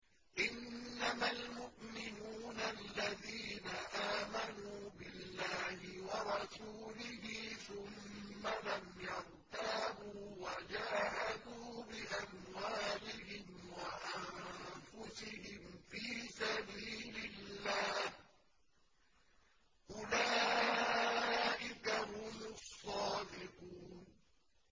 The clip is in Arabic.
إِنَّمَا الْمُؤْمِنُونَ الَّذِينَ آمَنُوا بِاللَّهِ وَرَسُولِهِ ثُمَّ لَمْ يَرْتَابُوا وَجَاهَدُوا بِأَمْوَالِهِمْ وَأَنفُسِهِمْ فِي سَبِيلِ اللَّهِ ۚ أُولَٰئِكَ هُمُ الصَّادِقُونَ